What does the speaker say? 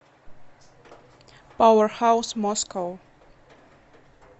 пауэрхаус москоу